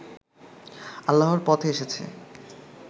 আল্লাহর পথে এসেছে